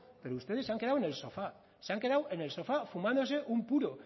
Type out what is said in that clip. pero ustedes se han quedado en el sofá se han quedado en el sofá fumándose un puro